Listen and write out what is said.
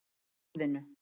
Með orðinu